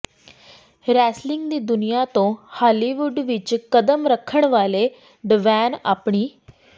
wrestling ਦੀ ਦੁਨੀਆਂ ਤੋਂ ਹਾਲੀਵੁੱਡ ਵਿੱਚ ਕਦਮ ਰੱਖਣ ਵਾਲੇ ਡਵੇਨ ਆਪਣੀ